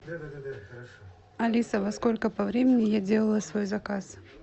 алиса во сколько по времени я делала свой заказ